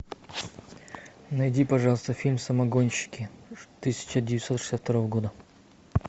найди пожалуйста фильм самогонщики тысяча девятьсот шестьдесят второго года